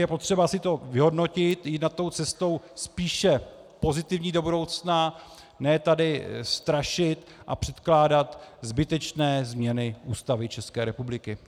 Je potřeba si to vyhodnotit, jít na to cestou spíše pozitivní do budoucna, ne tady strašit a předkládat zbytečné změny Ústavy České republiky.